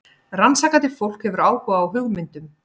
Rannsakandi fólk hefur áhuga á hugmyndum.